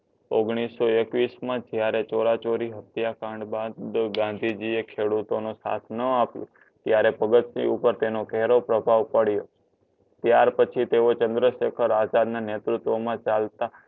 ઓગણીસો એકવીશમાં જયારે ચોરચોરી હત્યાકાંડ બાદ ગાંધીજી એ ખેડૂતો નો સાથ ન આપ્યો ત્યારે ભગતસિંહ ઉપર તેનો ઘેરો પ્રભાવ પડ્યો. ત્યાર પછી તેઓ ચંદ્રશેખર આઝાદ ના નેતૃત્વમાં ચાલતા